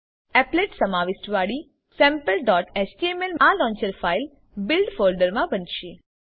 appletસમાવિષ્ટ વાડી sampleએચટીએમએલ આ લોન્ચર ફાઈલ બિલ્ડ ફોલ્ડરમા બનશે